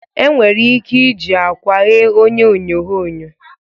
Enwere ike iji akwa ghee onye onyoghonyo